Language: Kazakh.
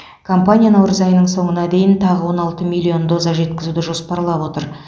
компания наурыз айының соңына дейін тағы он алты миллион доза жеткізуді жоспарлап отыр